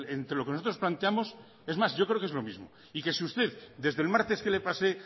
entre lo que nosotros planteamos es más yo creo que es lo mismo y que si usted desde el martes que le pasé